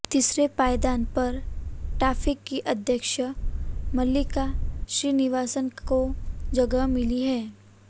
तीसरे पायदान पर टाफे की अध्यक्ष मल्लिका श्रीनिवासन को जगह मिली है